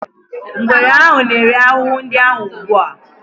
Ngwere ahụ na-eri ahụhụ ndị ahụ ugbu a.